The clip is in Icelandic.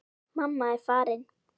Mamma er farin.